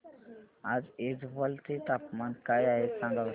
आज ऐझवाल चे तापमान काय आहे सांगा बरं